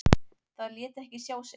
Það lét ekki sjá sig.